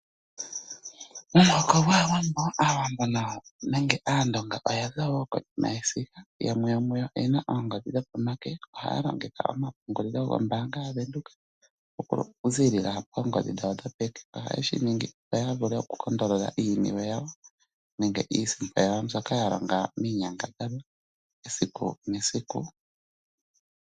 Omuhoko gwAawambo, nenge aandonga oya za wo konima yesiga. Yamwe yomuyo oyena oongodhi dhopomake. Ohaya longitha ompungulilo goombanga ya Venduka, okuziilila poongodhi dhawo dho peke. Ohaye shi ningi opo ya vule okukondolola iiniwe yawo, nenge iisimpo yawo mbyoka ya longa miinyangadhalwa esiku nesiku.